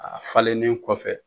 A falelen kɔfɛ.